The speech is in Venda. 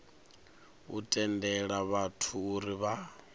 u tendela vhathu uri vha